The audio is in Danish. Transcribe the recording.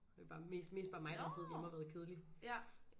Det er jo mest mest bare mig der har siddet derhjemme og været kedelig